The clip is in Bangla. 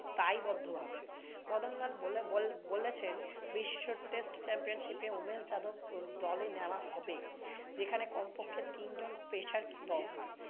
মদনলাল বলেবল~ বলেছেন বিশ্ব test championship এ উমেশ যাদব দলে নেওয়া হবে। এখানে কমপক্ষে তিনজন pacers কে দরকার।